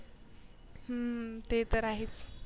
हम्म ते तर आहेच.